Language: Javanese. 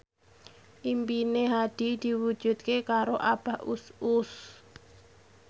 impine Hadi diwujudke karo Abah Us Us